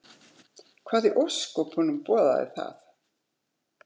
Hvað í ósköpunum boðaði það?